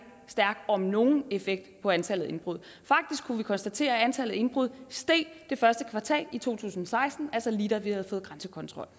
stærk om overhovedet nogen effekt på antallet af indbrud faktisk kunne vi konstatere at antallet af indbrud steg det første kvartal i to tusind og seksten altså lige da vi havde fået grænsekontrol